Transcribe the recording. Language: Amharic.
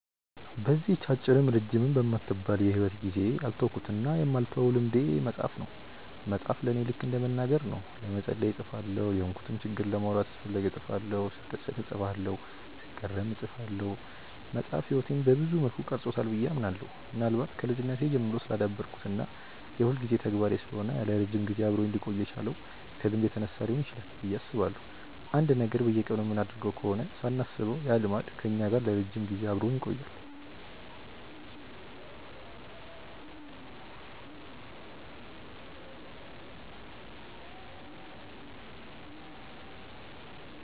በዚህች አጭርም ረጅምም በማትባል የሂወት ጊዜዬ ያልተውኩትና የማልተወው ልምዴ መጻፍ ነው። መጻፍ ለኔ ልከ እንደ መናገር ነው። ለመጸለይ እጽፋለሁ፤ የሆንኩትን ችግር ማውራት ስፈልግ እጽፋለሁ፤ ስደሰት እጽፋለሁ፤ ስገረም እጽፋለሁ። መጻፍ ህይወቴን ሰብዙ መልኩ ቀርጾታል ብዬ አምናለሁ። ምናልባት ከልጅነቴ ጀምሮ ስላዳበርኩት እና የሁልጊዜ ተግባሬ ስለሆነ ለረጅም ጊዜ አብሮኝ ሊቆይ የቻለው ከልምድ የተነሳ ሊሆን ይችላል ብዬ አስባለሁ። አንድን ነገር በየቀኑ የምናደርገው ከሆነ ሳናስበው ያ ልማድ ከኛ ጋር ለረጅም ጊዜ አብሮን ይቆያል።